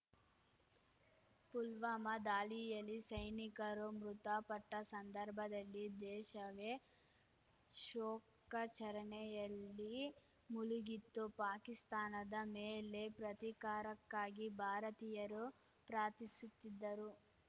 ಪುಲ್ವಾಮಾ ದಾಳಿಯಲ್ಲಿ ಸೈನಿಕರು ಮೃತಪಟ್ಟಸಂದರ್ಭದಲ್ಲಿ ದೇಶವೇ ಶೋಕಚರಣೆಯಲ್ಲಿ ಮುಳುಗಿತ್ತು ಪಾಕಿಸ್ತಾನದ ಮೇಲೆ ಪ್ರತೀಕಾರಕ್ಕಾಗಿ ಭಾರತೀಯರು ಪ್ರಾರ್ಥಿಸುತ್ತಿದ್ದರು